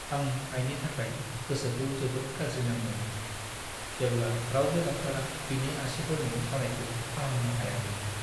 आं आइनि थाखाय गोसोखौ जोबोद गाज्रि नांदोंमोन, जेब्ला रावबो डाक्टारा बिनि आसिफोरनि सानायखौ फाहामनो हायाखैमोन।